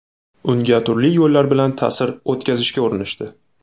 Unga turli yo‘llar bilan ta’sir o‘tkazishga urinishdi.